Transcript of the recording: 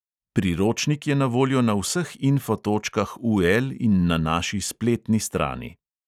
Priročnik je na voljo na vseh info točkah UL in na naši spletni strani.